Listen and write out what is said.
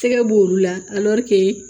Tɛgɛ b'olu la